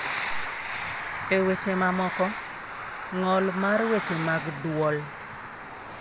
E weche mamoko, ng'ol mar weche mag dwol.